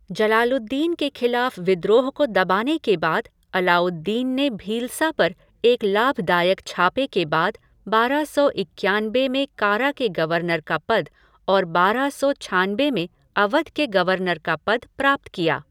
जलालुद्दीन के खिलाफ विद्रोह को दबाने के बाद अलाउद्दीन ने भीलसा पर एक लाभदायक छापे के बाद बारह सौ इक्यानबे में कारा के गवर्नर का पद और बारह सौ छानबे में अवध के गवर्नर का पद प्राप्त किया।